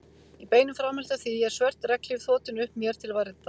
Í beinu framhaldi af því er svört regnhlíf þotin upp mér til verndar.